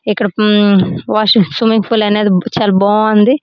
ఇక్కడ um washing swimming pool అనేది చాల బాగుంది.